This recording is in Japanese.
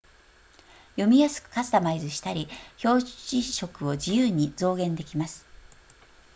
読みやすくカスタマイズしたり表示色を自由に増減できます